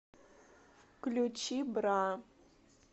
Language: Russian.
включи бра